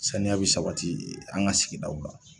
Saniya bɛ sabati an ka sigidaw la